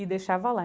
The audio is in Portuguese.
e deixava lá.